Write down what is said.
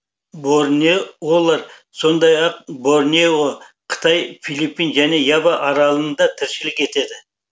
борнеолар сондай ақ борнео қытай филиппин және ява аралында тіршілік етеді